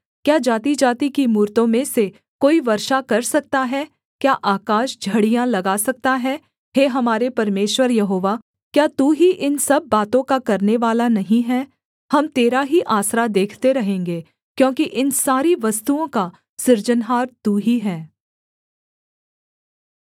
क्या जातिजाति की मूरतों में से कोई वर्षा कर सकता है क्या आकाश झड़ियाँ लगा सकता है हे हमारे परमेश्वर यहोवा क्या तू ही इन सब बातों का करनेवाला नहीं है हम तेरा ही आसरा देखते रहेंगे क्योंकि इन सारी वस्तुओं का सृजनहार तू ही है